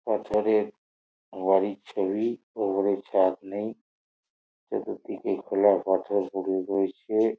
তারপরে বাড়ির ছবি ওপরে ছাদ নেই চতুর্দিকে খোলা পাথর পরে রয়েছে।